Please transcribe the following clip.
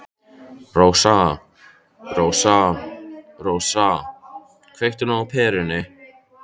Rósa, Rósa, Rósa, kveiktu nú á perunni.